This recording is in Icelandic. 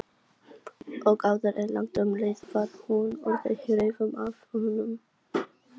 Og áður en langt um leið var hún orðin hrifin af honum.